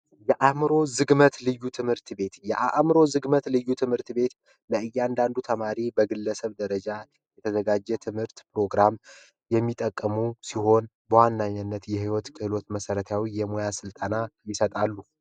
የአእምሮ ዝግመት ልዩ ትምህርት ቤት፦ የአዕምሮ ዝግመት ልዩ ትምህርት ቤት ለእያንዳንዱ ግለሰብ በትምህርት ደረጃ የተዘጋጁ የተለያዩ ሰዎች የሚጠቀሙት ሲሆን በዋነኛነት የህይወት ክህሎት መሰረታዊ የሙያ ስልጠና ይሰጣሉ።